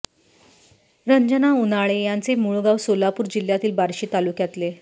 रंजना उन्हाळे यांचे मूळ गाव सोलापूर जिल्ह्यातील बार्शी तालुक्यातले